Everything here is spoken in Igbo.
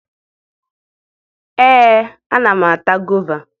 Ee, ana m ata gova